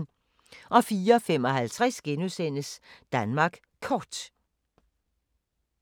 04:55: Danmark Kort *